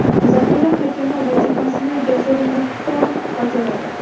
Zaxira hakami vazifasini Jasur Muxtorov bajaradi.